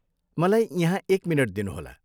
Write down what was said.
मलाई यहाँ एक मिनेट दिनुहोला।